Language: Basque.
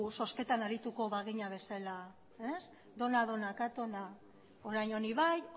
zozketan arituko bagina bezala ez dona dona katona orain honi bai